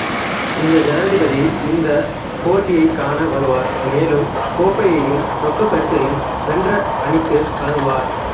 இந்திய ஜனாதிபதி இந்தப் போட்டடியைக் காண வருவார் மேலும் கோப்பையையும் ரொக்கப் பரிசையும் வென்ற அணிக்கு வழங்குவார்